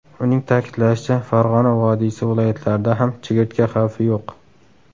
Uning ta’kidlashicha, Farg‘ona vodiysi viloyatlarida ham chigirtka xavfi yo‘q.